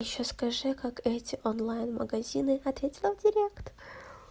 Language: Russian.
ещё скажи как эти онлайн магазины ответила в директ